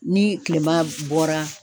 Ni kilema bɔra